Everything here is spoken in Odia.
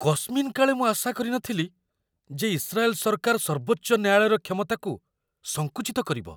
କସ୍ମିନ କାଳେ ମୁଁ ଆଶା କରିନଥିଲି ଯେ ଇସ୍ରାଏଲ ସରକାର ସର୍ବୋଚ୍ଚ ନ୍ୟାୟାଳୟର କ୍ଷମତାକୁ ସଙ୍କୁଚିତ କରିବ।